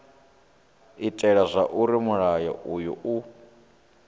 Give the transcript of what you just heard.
itela zwauri mulayo uyu u